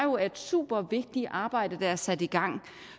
er et super vigtigt arbejde der er sat i gang